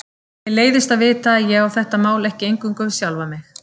Mér leiðist að vita að ég á þetta mál ekki eingöngu við sjálfa mig.